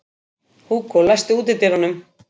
Hugó, læstu útidyrunum.